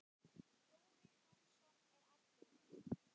Þórir Jónsson er allur.